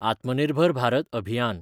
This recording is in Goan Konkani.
आत्मनिर्भर भारत अभियान